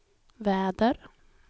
väder